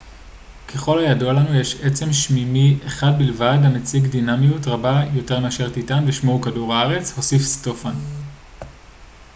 ככל הידוע לנו יש עצם שמימי אחד בלבד המציג דינמיות רבה יותר מאשר טיטאן ושמו הוא כדור הארץ הוסיף סטופאן